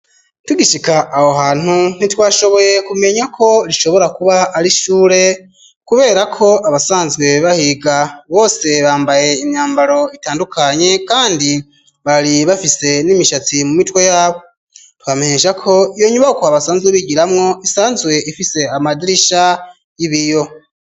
Tugishika aho hantu ntitwashoboye kumenya ko rishobora kuba ari ishure, kubera ko abasanzwee bahiga bose bambaye imyambaro itandukanye, kandi bari bafise n'imishatsi mu mitwe yabo twampneshako iyo nyubako abasanzwe bigiramwo isanzwe ifise amadirisha ibiyo.